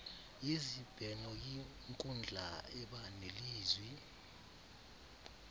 yezibhenoyinkundla eba nelizwi